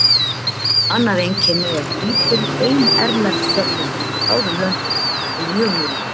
Annað einkenni er lítil bein erlend fjárfesting í báðum löndum þar til mjög nýlega.